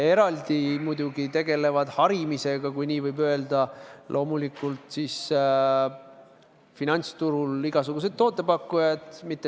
Eraldi muidugi tegelevad harimisega, kui nii võib öelda, loomulikult igasugused finantsturul tootepakkujad.